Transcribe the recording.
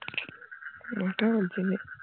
ওটা বলছি না